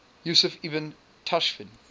yusuf ibn tashfin